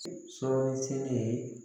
Sɔɔni seegin ye